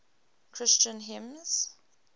christian hymns